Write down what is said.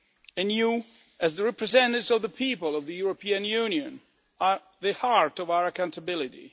And you, as the representatives of the people of the European Union, are the heart of our accountability.